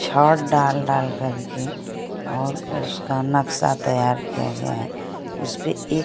छत डाल डाल के और उसका नक्शा तैयार किया गया है उसपे एक--